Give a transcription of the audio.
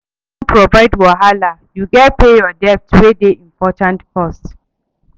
If you wan avoid wahala, you gats pay your debt wey dey important first.